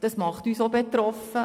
Das macht uns auch betroffen.